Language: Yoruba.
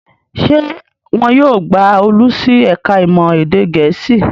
Ṣé wọn yóò gba Olú sí ẹ̀ka-ìmọ̀ èdè Gẹ̀ẹ́sì?